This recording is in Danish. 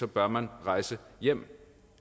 bør man rejse hjem